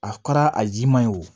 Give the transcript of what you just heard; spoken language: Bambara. A kɛra a jiman ye wo